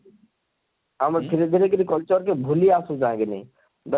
ଆମେ ଧୀରେ ଧୀରେ କରି culture କେ ଭୁଲି ଆସୁଛା କିନି ଦେଖ,